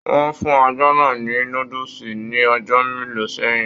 Wọn fún ajá náà ní núdúsí ní ọjọ mélòó sẹyìn.